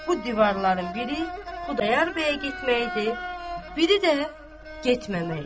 Bu divarların biri Xudayar bəyə getmək idi, biri də getməmək idi.